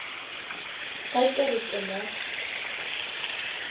ge ke re ke mo